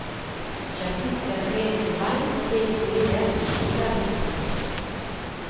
Skjær fisken ren for bein, og del fileten i skiver litt på skrå.